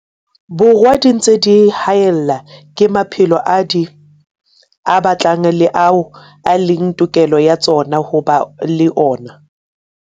Borwa di ntse di haellwa ke maphelo ao di a batlang le ao e leng tokelo ya tsona ho ba le ona.